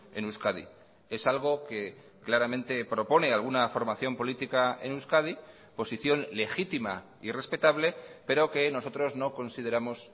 en euskadi es algo que claramente propone alguna formación política en euskadi posición legítima y respetable pero que nosotros no consideramos